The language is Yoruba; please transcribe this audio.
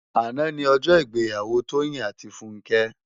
Àná ni òjò igbèyàwó Toyin áti Funke